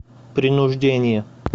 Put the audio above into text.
принуждение